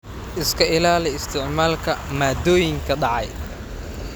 Iska ilaali isticmaalka maaddooyinka dhacay.